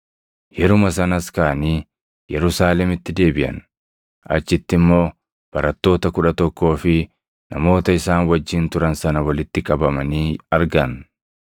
Yeruma sanas kaʼanii Yerusaalemitti deebiʼan; achitti immoo barattoota kudha tokkoo fi namoota isaan wajjin turan sana walitti qabamanii argan.